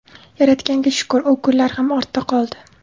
Yaratganga shukur, u kunlar ham ortda qoldi.